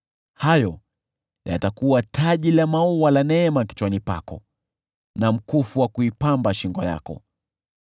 Hayo yatakuwa taji la maua la neema kichwani pako, na mkufu wa kuipamba shingo yako.